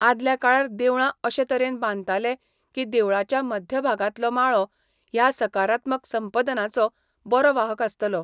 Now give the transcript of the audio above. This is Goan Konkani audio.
आदल्या काळार देवळां अशें तरेन बांदताले की देवळाच्या मध्य भागांतलो माळो ह्या सकारात्मक संपदनाचो बरो वाहक आसतालो.